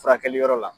Furakɛli yɔrɔ la